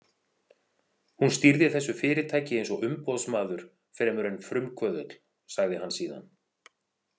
Hún stýrði þessu fyrirtæki eins og umboðsmaður fremur en frumkvöðull, sagði hann síðan.